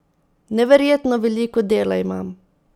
Neverjetno veliko dela imam.